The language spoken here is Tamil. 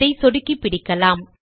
அதை சொடுக்கி பிடிக்கலாம்